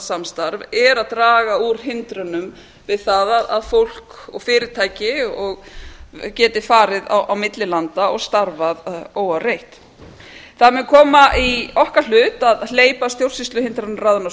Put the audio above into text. norrænt samstarf að draga úr hindrunum við það að fólk og fyrirtæki geti farið á milli landa og starfa óáreitt það mun koma í okkar hlut að hlut að hleypa stjórnsýsluhindrunarráðinu af